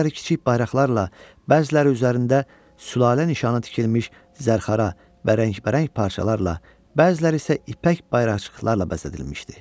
Bəziləri kiçik bayraqlarla, bəziləri üzərində sülalə nişanı tikilmiş zərxara və rəngbərəng parçalarla, bəziləri isə ipək bayraqcıqlarla bəzədilmişdi.